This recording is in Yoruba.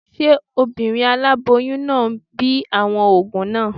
Ṣé obìnrin aláboyún náà ń bi àwọn òògùn náà?